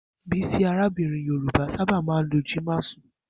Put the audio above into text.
Bisi, arábìnrin Yorùbá, sábà máa ń lo Ji masun.